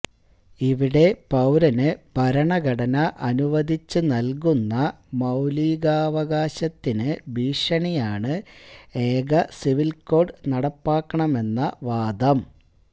ഇവിടെ പൌരന് ഭരണഘടന അനുവദിച്ച് നല്കുന്ന മൌലികാവകാശത്തിന് ഭീഷണിയാണ് ഏകസിവില് കോഡ് നടപ്പാക്കണമെന്ന വാദം